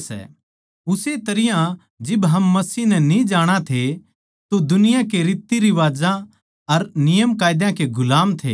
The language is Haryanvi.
उस्से तरियां जिब हम मसीह नै न्ही जाणा थे तो दुनिया की रीतिरिवाजां अर नियमकायदा के गुलाम थे